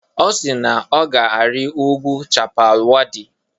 Ọ si na ọ ga-arị ugwu Chappal Waddi.